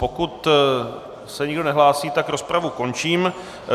Pokud se nikdo nehlásí, tak rozpravu končím.